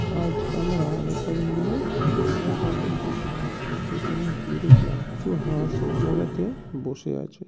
আজ আমরা অনেক কজন মিলে ন্যাশনাল পার্কে গিয়েছিলাম। যেখানে গিয়ে দেখলাম কিছু হাস এক জায়গাতে বসে আছে।